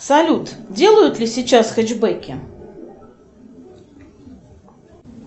салют делают ли сейчас хэтчбэки